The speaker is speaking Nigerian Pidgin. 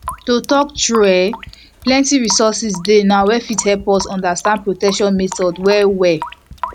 to talk true um eh plenty resources dey now wey fit help us understand protection methods well well